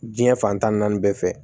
Diɲɛ fantan ni naani bɛɛ fɛ